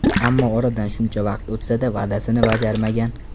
Ammo oradan shuncha vaqt o‘tsa-da, va’dasini bajarmagan.